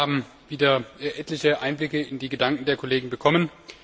Wir alle haben wieder etliche Einblicke in die Gedanken der Kollegen bekommen.